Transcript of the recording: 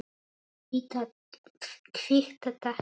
Kvitta, takk!